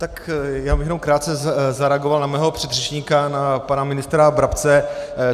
Tak já bych jenom krátce zareagoval na mého předřečníka, na pana ministra Brabce.